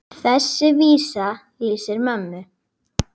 Þessi vísa lýsir mömmu.